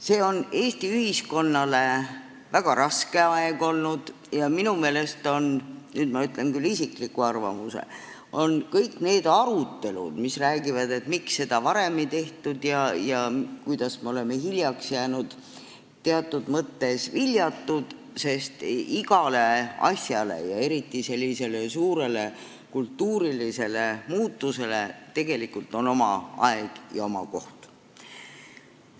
See on Eesti ühiskonnale olnud väga raske aeg ja minu meelest on – nüüd ma ütlen küll oma isikliku arvamuse – kõik need arutelud, kus räägitakse, et miks seda varem ei tehtud ja kuidas me oleme hiljaks jäänud, teatud mõttes viljatud, sest igale asjale ja eriti sellisele suurele kultuurilisele muutusele on oma aeg ja oma koht.